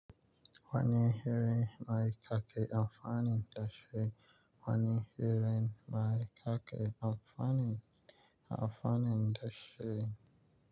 Wani hiran mai kake amfanin da shi. Wani hiran mai kaƙe amfanin, amfanin da shi.